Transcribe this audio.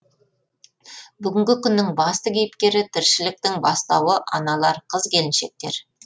бүгінгі күннің басты кейіпкері тіршіліктің бастауы аналар қыз келіншектер